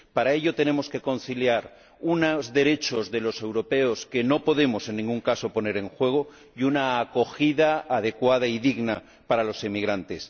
Para ello, tenemos que conciliar unos derechos de los europeos que no podemos, en ningún caso, poner en juego y una acogida adecuada y digna para los emigrantes.